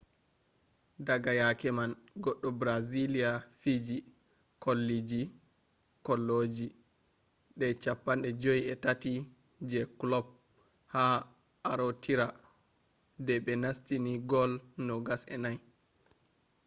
daga yake man goɗɗo brazilia fiiji kolloji de 53 je kulob ha arootira de be nastini gol 24